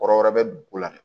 Kɔrɔ wɛrɛ bɛ ko la